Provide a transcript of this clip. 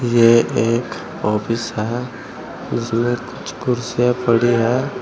ये एक ऑफिस है जिसमें कुछ कुर्सियां पड़ी है।